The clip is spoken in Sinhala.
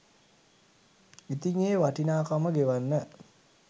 ඉතිං ඒ වටිනාකම ගෙවන්න